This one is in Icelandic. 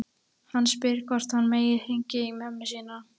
Hann spyr hvort hann megi hringja í mömmu sína.